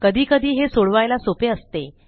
कधीकधी हे सोडवायला सोपे असते